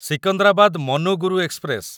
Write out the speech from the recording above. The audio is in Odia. ସିକନ୍ଦରାବାଦ ମନୁଗୁରୁ ଏକ୍ସପ୍ରେସ